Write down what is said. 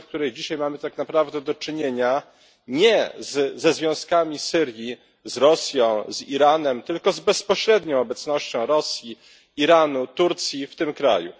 Dzisiaj mamy tak naprawdę do czynienia nie ze związkami Syrii z Rosją czy z Iranem, tylko z bezpośrednią obecnością Rosji, Iranu, Turcji w tym kraju.